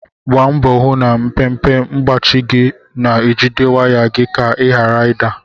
Gbaa mbọ hụ na mpempe mgbachi gị na-ejide waya gị ka ị ghara ị da.